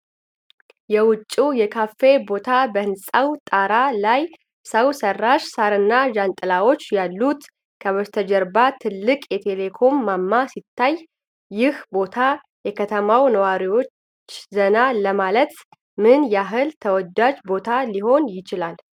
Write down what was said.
የውጪው የካፌ ቦታ በህንፃው ጣራ ላይ ሰው ሰራሽ ሳርና ጃንጥላዎች ያሉት፣ ከበስተጀርባ ትልቅ የቴሌኮም ማማ ሲታይ፣ ይህ ቦታ የከተማው ነዋሪዎች ዘና ለማለት ምን ያህል ተወዳጅ ቦታ ሊሆን ይችላል?